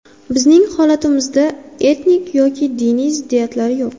Bizning holatimizda etnik yoki diniy ziddiyatlar yo‘q.